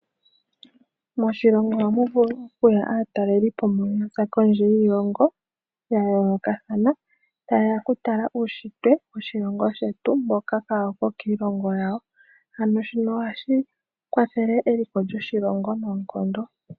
Moshilongo ohamu vulu okuya aatalelipo mbono yaza kondje yiilongo ya yoolokathana, tayeya okutala uunshitwe woshilongo shetu mboka kaawu ko kiilongo yawo, ano shino ohashi kwathele eliko lyoshilongo noonkondo.